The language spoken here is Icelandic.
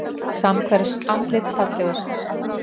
Samhverf andlit fallegust